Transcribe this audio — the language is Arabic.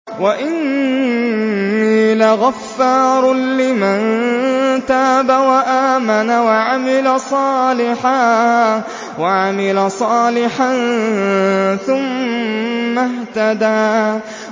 وَإِنِّي لَغَفَّارٌ لِّمَن تَابَ وَآمَنَ وَعَمِلَ صَالِحًا ثُمَّ اهْتَدَىٰ